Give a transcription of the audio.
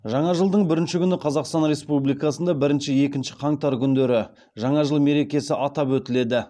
жаңа жылдың бірінші күні қазақстан республикасында бірінші екінші қаңтар күндері жаңа жыл мерекесі атап өтіледі